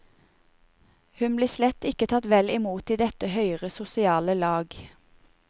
Hun blir slett ikke tatt vel imot i dette høyere sosiale lag.